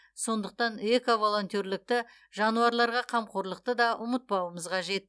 сондықтан эко волонтерлікті жануарларға қамқорлықты да ұмытпауымыз қажет